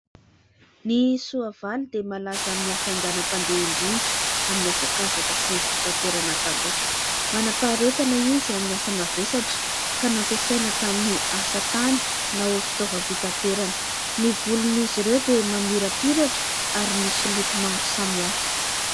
Ny soavaly dia malaza amin'ny hafainganam-pandeha indrindra amin'ny hazakazaka sy ny fitaterana taloha. Manam-paharetana izy amin'ny asa mavesatra, ka nampasaina tamin'ny asa tany na ho fitaovam-pitaterana. Ny volon'izy ireo dia mamirapiratra ary misy loko maro samihafa.